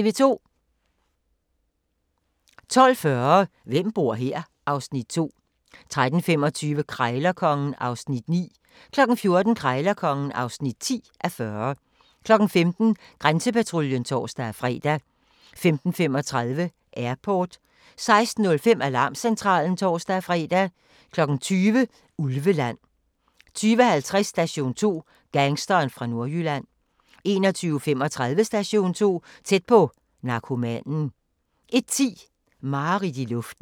12:40: Hvem bor her? (Afs. 2) 13:25: Krejlerkongen (9:40) 14:00: Krejlerkongen (10:40) 15:00: Grænsepatruljen (tor-fre) 15:35: Airport 16:05: Alarmcentralen (tor-fre) 20:00: Ulveland 20:50: Station 2: Gangsteren fra Nordjylland 21:35: Station 2: Tæt på - narkomanen 01:10: Mareridt i luften